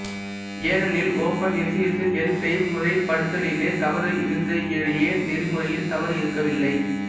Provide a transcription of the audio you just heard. ஏனெனில் open S S L செய்முறைப்படுத்தலிலே தவறு இருந்ததேயொழிய நெறிமுறையில் தவறு இருக்கவில்லை